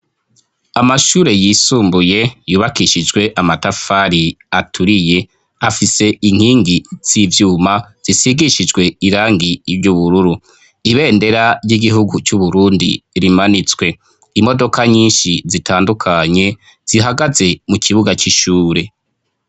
Amashure yisumbuye yubakishijwe amatafari aturiye, afise inkingi z'ivyuma zisigishijwe irangi ry'ubururu. Ibendera ry'igihugu c'Uburundi rimanitswe. Imodoka nyinshi zitandukanye zihagaze mu kibuga c'ishure.